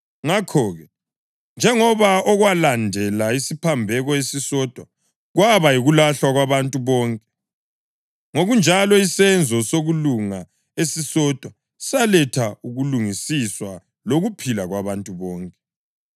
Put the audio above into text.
Ngakho-ke, njengoba okwalandela isiphambeko esisodwa kwaba yikulahlwa kwabantu bonke, ngokunjalo isenzo sokulunga esisodwa saletha ukulungisiswa lokuphila kwabantu bonke.